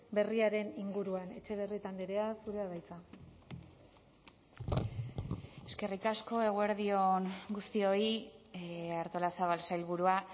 berriaren inguruan etxebarrieta andrea zurea da hitza eskerrik asko eguerdi on guztioi artolazabal sailburua